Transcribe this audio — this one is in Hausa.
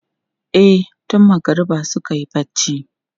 E, tun magariba suka yi barci.